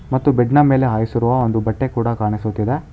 ಮತ್ತು ಬೆಡ್ ನ ಮೇಲೆ ಹಾಸಿರುವ ಒಂದು ಬಟ್ಟೆ ಕೂಡ ಕಾಣಿಸುತಿದೆ.